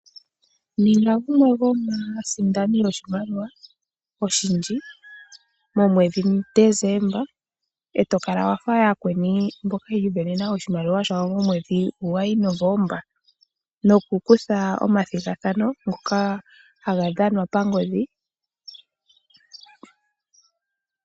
Ninga gumwe gomaasindani oshilmaliwa oshindji momwedhi mu December etakala wafa yakweni mboka yimonena oshimaliwa shawo mwedhi gwayi gwa November nokutha omathigathano ngoka gadhanwa pangodhi.